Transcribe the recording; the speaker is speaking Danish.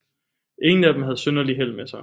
Ingen af dem havde synderligt held med sig